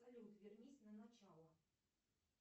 салют вернись на начало